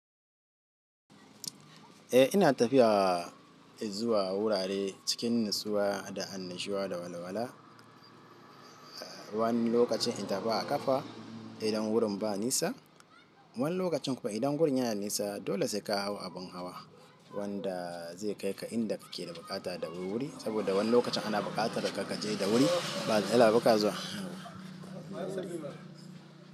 Eh ina tafiya zuwa wurare cikin natsuwa da annashuwa da walawala. Wani lokacin in tafi a ƙafa idan wurin ba nisa, wani lokacin kuma idan wurin yana nisa dole sai ka hau abin hawa wanda zai kai ka inda kake da buƙata da wurwuri saboda wani lokacin ana buƙatar ka je da wuri ba barka da zuwa.